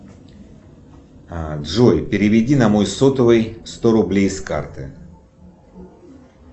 джой переведи на мой сотовый сто рублей с карты